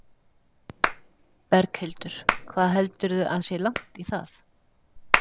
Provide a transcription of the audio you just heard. Berghildur: Hvað heldurðu að sé langt í það?